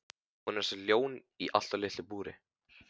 Hún er eins og ljón í allt of litlu búri!